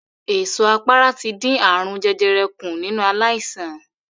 Èso àpárá ti dín ààrùn jẹjẹrẹ kùn nínú aláìsàn.